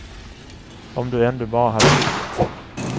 Om du ändå bara hade ringt.